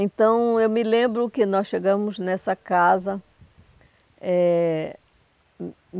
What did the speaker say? Então, eu me lembro que nós chegamos nessa casa. Eh